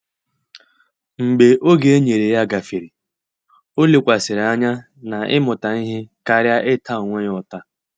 Mgbe oge enyere ya gafere, o lekwasịrị anya na ịmụta ihe karịa ịta onwe ya ụta